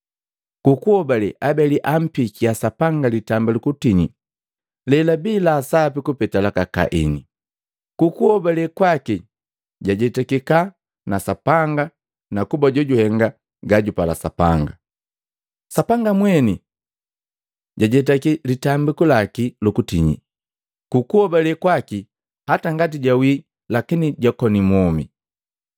Ku kuhobale Abeli ampikia Sapanga litambiku lukutinyi lelabii la sapi kupeta laka Kaini. Ku kuhobale kwaki jajetikika na Sapanga kuba jojuhenga gajupala Sapanga; Sapanga mweni jajetaki litambiku laki lu kutinyi. Ku kuhobale kwaki hata ngati jawii lakini jakoni mwomi.